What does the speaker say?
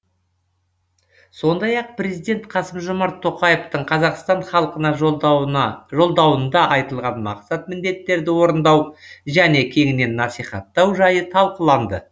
сондай ақ президент қасым жомарт тоқаевтың қазақстан халқына жолдауында айтылған мақсат міндеттерді орындау және кеңінен насихаттау жайы талқыланды